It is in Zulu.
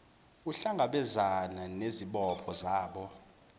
ukuhlangabezana nezibopho zabo